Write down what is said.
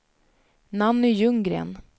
Nanny Ljunggren